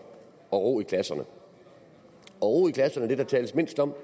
og ro i klasserne ro i klasserne er det der tales mindst om og